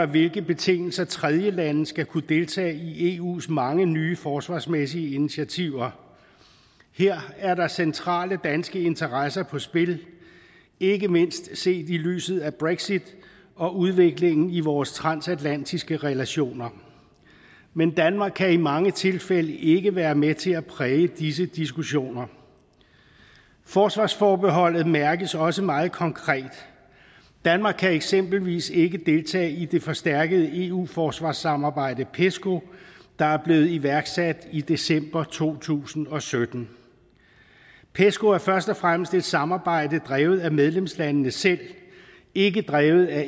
hvilke betingelser tredjelande skal kunne deltage i eus mange nye forsvarsmæssige initiativer her er der centrale danske interesser på spil ikke mindst set i lyset af brexit og udviklingen i vores transatlantiske relationer men danmark kan i mange tilfælde ikke være med til at præge disse diskussioner forsvarsforbeholdet mærkes også meget konkret danmark kan eksempelvis ikke deltage i det forstærkede eu forsvarssamarbejde pesco der er blevet iværksat i december to tusind og sytten pesco er først og fremmest et samarbejde drevet af medlemslandene selv ikke drevet af